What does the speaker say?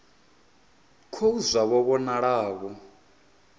khou zwa vho vhonala vho